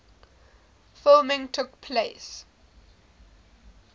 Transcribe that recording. filming took place